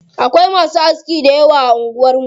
Akwai masu aski dayawa a anguwar mu.